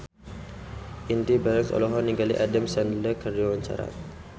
Indy Barens olohok ningali Adam Sandler keur diwawancara